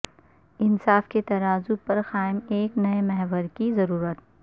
انصاف کے ترازو پر قائم ایک نئے محور کی ضرورت